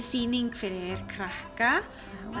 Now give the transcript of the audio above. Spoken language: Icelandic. sýning fyrir krakka